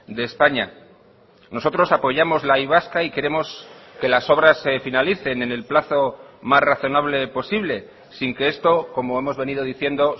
de españa nosotros apoyamos la y vasca y queremos que las obras se finalicen en el plazo más razonable posible sin que esto como hemos venido diciendo